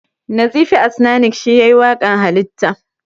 Nazifi Asnanic shi yayi waƙan Halitta